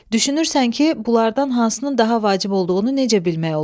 Düşünürsən ki, bunlardan hansının daha vacib olduğunu necə bilmək olar?